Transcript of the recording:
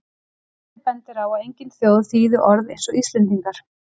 Forseti bendir á að engin þjóð þýði orð eins og Íslendingar.